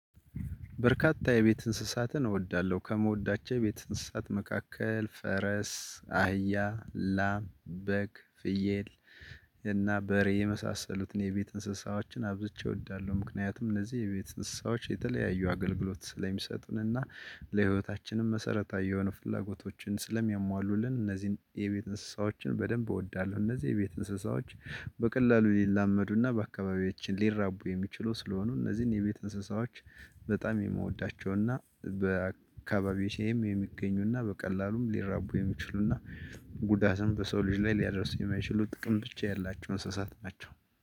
በርካታ የቤት እንስሳትን እወዳለሁ ከምወዳቸው የቤት እንስሳት መካከል ፈረስ አህያ ላም በግ ፍየል እና በሬ የመሳሰሉትን የቤት እንስሳዎችን አብዝቼ እወዳለሁ። ምክንያቱም እነዚህ የቤት እስሳዎች የተለያዩ አገልግሎት ስለሚሰጡንና ለህይወታችንም መሰረታዊ የሆኑ ፍላጎቶችን ስለሚያሟሉልን እነዚህን የቤት እንስሳዎችን በደንብ እወዳለሁ። እነዚህ የቤት እንስሳዎች። በቀላሉ ሊላመዱና በአካባቢያችን ሊራቡ የሚችሉ ስለሆኑ እነዚህን የቤት እንስሳዎች። በጣም የምወዳቸውና በአካባቢዬም የሚገኙና በቀላሉም ሊራቡ የሚችሉና ጉዳትም በሰው ልጅ ላይ ሊያደርሱ የማይችሉ ጥቅም ብቻ ያላቸው እንስሳት ናቸው።